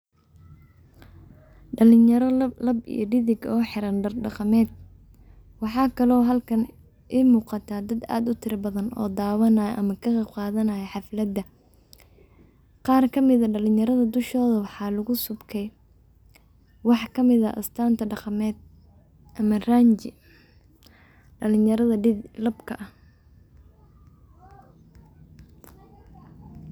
Dhalinyaro lab iyo dig oo xiran dar dhaqameed. Waxaa kalo halkan iga muqata dad aad u tira badan oo daawanaya ama ka qeyb qaadanaya xaflada. Qaar kamid ah dhalinyarada dushooda waxaa lagu subkay wax kamid ah astanta dhaqameed ama ranji dhalinyarada labka ah.